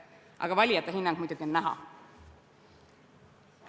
Aga valijate hinnang muidugi on näha.